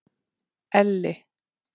Elli